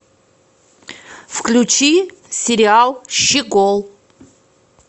включи сериал щегол